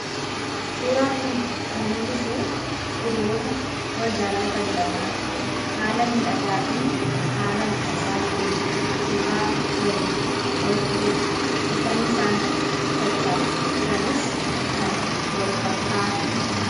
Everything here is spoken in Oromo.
suuraan kun kan mul'isu hiriyoota wal jaallatan lamaan haala miidhagaa fi haala hwwisisaa ta'een suuraa waliin ka'utti jiru uffanni isaan uffachaa jiranis kan walfakkaatudha